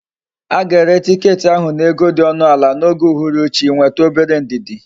Aga ere ticket ahu na ego di onu ala na oge uhuru chi, nwetu obere ndidi!